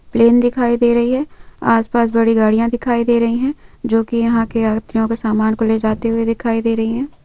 Plane दिखाई दे रही है आसपास बड़ी गाड़ियां दिखाई दे रही हैं। जो कि यहां की यात्रियों के समान को ले जाते हुए दिखाई दे रही है।